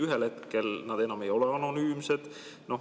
Ühel hetkel nad enam ei ole anonüümsed.